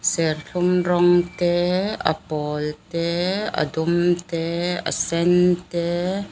serthlum rawng te a pawl te a dum te a sen te.